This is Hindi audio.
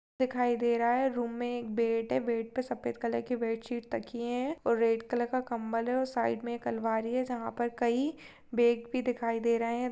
दिखाई दे रहा है रूम मे एक बेड है बेड पे सफेद रंग की बेड शीट तकिये है और रेड कलर का कंबल है और साइड मे एक अलमारी है जहा पर कई बेग भी दिखाई दे रहे है।